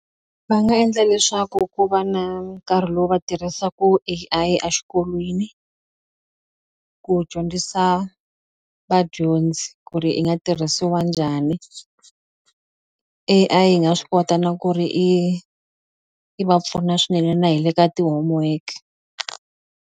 Va nga endla leswaku ku va na nkarhi lowu va tirhisaku A_I a xikolweni ku dyondzisa vadyondzi ku ri i nga tirhisiwa njhani A_I yi nga swi kota na ku ri i yi va pfuna swinene na hi le ka ti-homework.